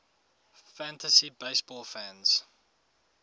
fantasy baseball fans